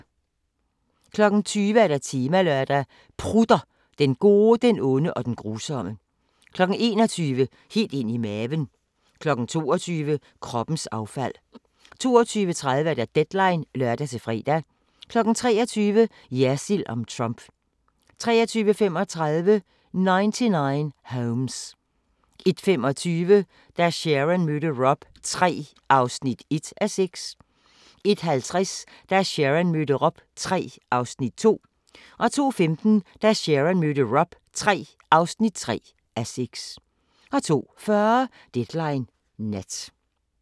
20:00: Temalørdag: Prutter – Den gode, den onde og den grusomme 21:00: Helt ind i maven 22:00: Kroppens affald 22:30: Deadline (lør-fre) 23:00: Jersild om Trump 23:35: 99 Homes 01:25: Da Sharon mødte Rob III (1:6) 01:50: Da Sharon mødte Rob III (2:6) 02:15: Da Sharon mødte Rob III (3:6) 02:40: Deadline Nat